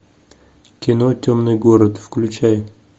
кино темный город включай